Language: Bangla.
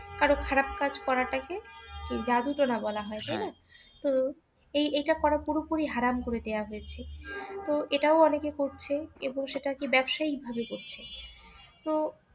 কারোর খারাপ কাজ করা টাকে জাদু টনা বলা হই তাই না? তো এই এইটা করা পুরো পুরি হারাম করে দেওয়া হয়েছে তো এটাও অনেকে করছে এবং সেটাকে ব্যবসায়িক ভাবে করছে তো